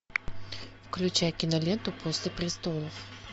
включай киноленту после престолов